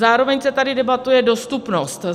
Zároveň se tady debatuje dostupnost.